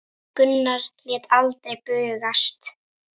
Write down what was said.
Gunnar lét aldrei bugast.